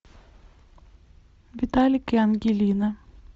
виталик и ангелина